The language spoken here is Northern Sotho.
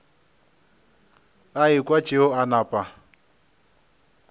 a ekwa tšeo a napa